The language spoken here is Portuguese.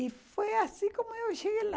E foi assim como eu cheguei lá.